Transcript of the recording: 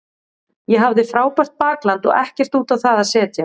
Ég hafði frábært bakland og ekkert út á það að setja.